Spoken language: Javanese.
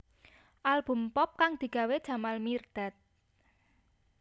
Album pop kang digawé Jamal Mirdad